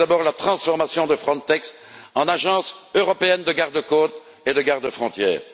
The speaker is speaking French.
Je salue d'abord la transformation de Frontex en agence européenne de gardes côtes et de gardes frontières.